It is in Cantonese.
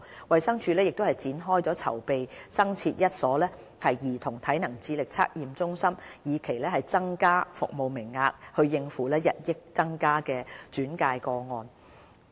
衞生署亦展開了增設一所兒童體能智力測驗中心的籌備工作，以期增加服務名額以應付日益增加的轉介個案。